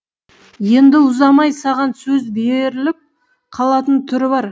енді ұзамай саған сөз беріліп қалатын түрі бар